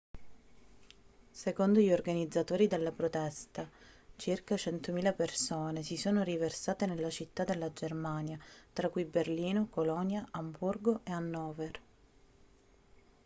secondo gli organizzatori della protesta circa 100.000 persone si sono riversate nelle città della germania tra cui berlino colonia amburgo e hannover